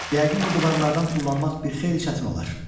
Yəqin bu divarlardan tullanmaq bir xeyli çətin olar.